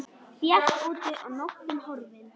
Bjart úti og nóttin horfin.